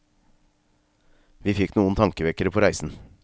Vi fikk noen tankevekkere på reisen.